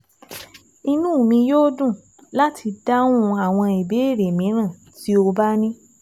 Inú mi yóò dùn láti dáhùn àwọn ìbéèrè mìíràn tó o bá ní